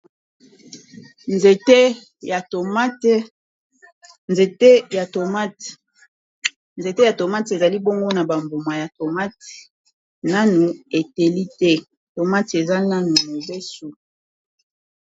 Nzete ya tomate ezali bongo na ba mbuma ya tomate nanu eteli te tomate eza nanu mobesu.